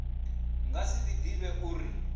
nga si ḓi vhidze uri